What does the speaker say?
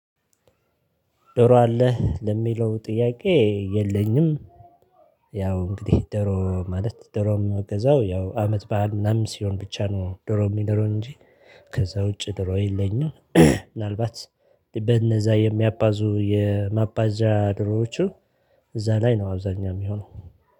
ዶሮ አለህ ለሚለው ጥያቄ የለኝም። ያው እንግዲህ ዶሮ ማለት ዶሮ የሚገዛው ያው አመት በዓል ምናምን ሲሆን ብቻ ነው ደሮ የምንበላው እንጂ ከዛ ውጪ ዶሮ የለኝም። ምናልባት በእነዛ የሚያባዙ የማባዣ ዶሮዎቹ። እዛ ላይ ነው አብዛኛው የሚሆነው